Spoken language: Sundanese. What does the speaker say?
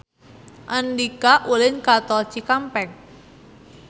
Andika ulin ka Tol Cikampek